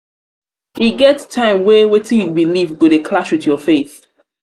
e get time wey wetin you beliv go dey clash wit your faith.